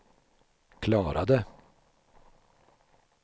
klarade